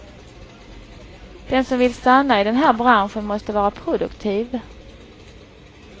Den som vill stanna i den här branschen måste vara produktiv.